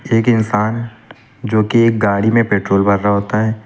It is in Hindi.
एक इंसान जो की एक गाड़ी में पेट्रोल भर रहा होता है।